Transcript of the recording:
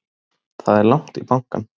Það er langt í bankann!